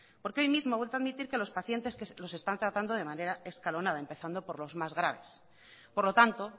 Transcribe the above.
porque hoy mismo ha vuelto a emitir que los pacientes los están tratando de manera escalonada empezando por los más graves por lo tanto